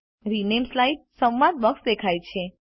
rename slide સંવાદ box દેખાય છે